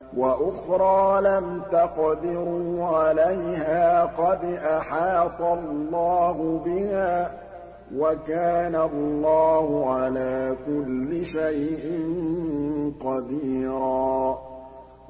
وَأُخْرَىٰ لَمْ تَقْدِرُوا عَلَيْهَا قَدْ أَحَاطَ اللَّهُ بِهَا ۚ وَكَانَ اللَّهُ عَلَىٰ كُلِّ شَيْءٍ قَدِيرًا